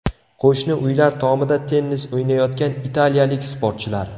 Qo‘shni uylar tomida tennis o‘ynayotgan italiyalik sportchilar.